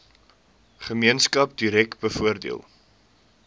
gemeenskap direk bevoordeel